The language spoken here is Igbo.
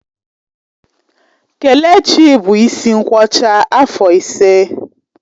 Kelechi bụ isi nkwọcha afọ ise